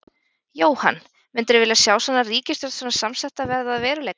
Jóhann: Myndirðu vilja sjá svona ríkisstjórn svona samsetta verða að veruleika?